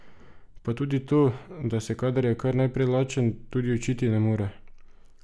Pa tudi to, da se, kadar je kar naprej lačen, tudi učiti ne more.